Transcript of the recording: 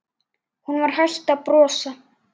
Hún var hætt að brosa.